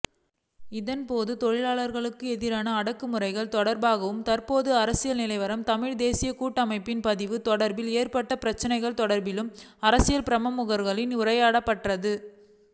இதன் போது தொழிலாளர்களுக்குஎதிரான அடக்கு முறைகள் தொடர்பாகவும்தற்போதைய அரசியல் நிலவரம் தமிழ்தேசியக்கூட்டமைப்பின் பதிவு தொடர்பில்ஏற்பட்டுள்ள பிரச்சினைகள் தொடர்பிலும் அரசியல்பிரமுகர்களினால் உரையாற்றப்பட்டது